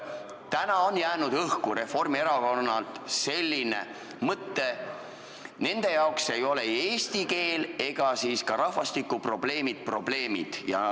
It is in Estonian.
Täna on jäänud Reformierakonnalt õhku selline mõte, et nende jaoks ei ole eesti keele ega ka rahvastikuprobleemid probleemid.